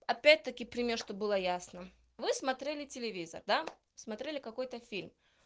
опять-таки пример чтобы было ясно вы смотрели телевизор да смотрели какой-то фильм